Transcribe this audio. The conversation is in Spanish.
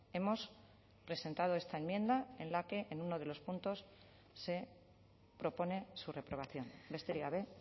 hemos presentado esta enmienda en la que en uno de los puntos se propone su reprobación besterik gabe